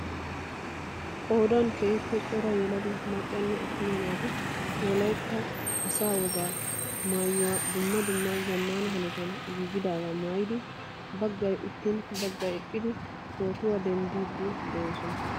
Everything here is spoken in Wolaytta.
Qoodan keehiippe cora yelaga maccanne atuma naati wolaytta asaa wogaa mayaluwaa duumma dumma zaammana hanotaan giigidaagaa maayidi baggay uttiin baggay eqqidi pootuwa denddiiyabaa milatooson.